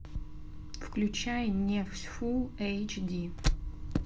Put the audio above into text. включай нефть фулл эйч ди